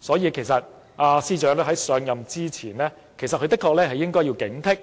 所以，其實司長在上任前的確應有所警惕，